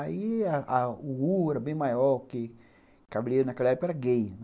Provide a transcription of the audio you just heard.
Aí o U era bem maior que... Cabeleireiro naquela época era gay.